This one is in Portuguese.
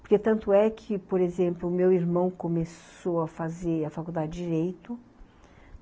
Porque tanto é que, por exemplo, meu irmão começou a fazer a faculdade de Direito.